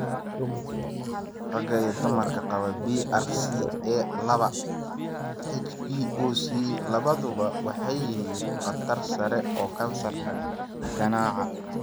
Ragga iyo dumarka qaba BRCA laba HBOC labaduba waxay leeyihiin khatar sare oo kansarka ganaca.